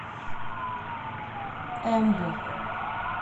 эмбу